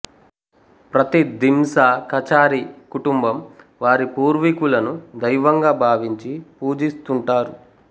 ప్రతి దింసా కచారీ కుటుంబం వారి పూర్వీకులను దైవంగాభావించి పూజిస్తుంటారు